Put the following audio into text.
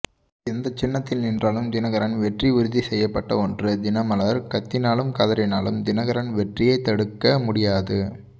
எந்த சின்னத்தில் நின்றாலும் தினகரன் வெற்றி உறுதி செய்யப்பட்ட ஒன்று தினமலர் கத்தினாலும் கதறினாலும் தினகரன் வெற்றியை தடுக்க முடியாது